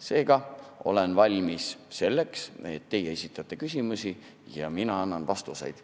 Seega olen valmis selleks, et teie esitate küsimusi ja mina annan vastuseid.